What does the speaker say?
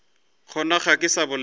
gona ga ke sa bolela